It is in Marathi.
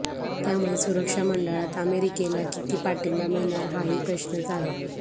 त्यामुळे सुरक्षा मंडळात अमेरिकेला किती पाठिंबा मिळणार हाही प्रश्नच आहे